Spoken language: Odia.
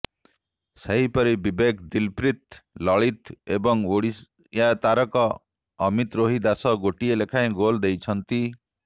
ସେହିପରି ବିବେକ ଦଲପ୍ରୀତ୍ ଲଳିତ ଏବଂ ଓଡ଼ିଆ ତାରକା ଅମିତରୋହି ଦାସ ଗୋଟିଏ ଲେଖାଏ ଗୋଲ ଦେଇଛନ୍ତି